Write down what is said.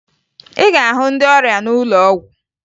Ị ga-ahụ ndị ọrịa n'ụlọ ọgwụ